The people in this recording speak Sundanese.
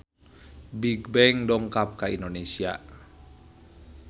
Bigbang dongkap ka Indonesia